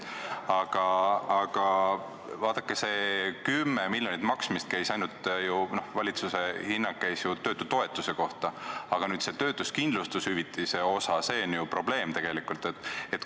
Aga vaadake, see valitsuse hinnang 10 miljonit käis ju töötutoetuse kohta, aga töötuskindlustushüvitise osa on ju probleem tegelikult.